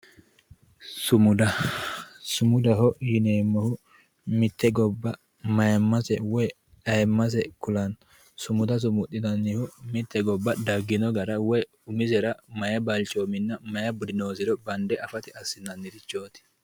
Sumuda, sumudaho yineemmohu mite gobba mayimase woyi ayiimase ku'lano, sumuda sumundannihu mite gobba daggino gara woyi umisera mayi balchominna mayi budi noosero bande affate assinannirichoti.